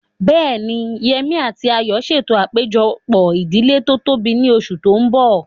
Bẹ́ẹ̀ni, Yemí àti Ayọ̀ ń ṣètò àpéjọpọ̀ ìdílé tó tóbi ní oṣù tó mbọ̀